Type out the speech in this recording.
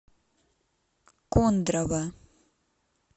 кондрово